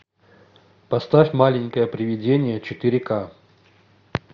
поставь маленькое привидение четыре ка